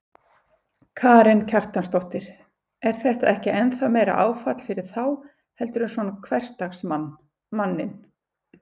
Karen Kjartansdóttir: Er þetta ekki ennþá meira áfall fyrir þá heldur en svona hversdagsmann, manninn?